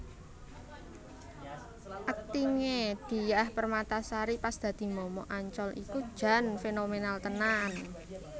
Akting e Diah Permatasari pas dadi momok Ancol iku jan fenomenal tenan